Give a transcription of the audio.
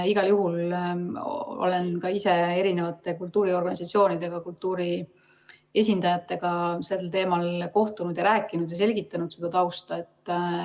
Olen ka ise kultuuriorganisatsioonidega, kultuurivaldkonna esindajatega sel teemal kohtunud ja rääkinud ning selgitanud tausta.